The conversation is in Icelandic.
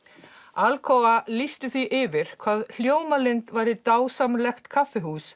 Alcoa lýsti því yfir hvað Hljómalind væri dásamlegt kaffihús